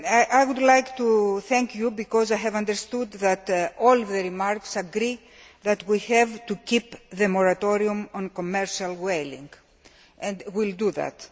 I would like to thank you because I have understood that all the remarks agree we have to keep the moratorium on commercial whaling, and we will do that.